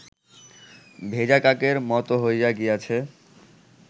ভেজা কাকের মত হইয়া গিয়াছে